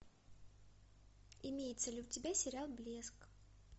имеется ли у тебя сериал блеск